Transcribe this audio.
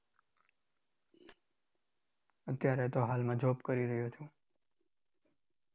અત્યારે તો હાલમાં job કરી રહ્યો છું.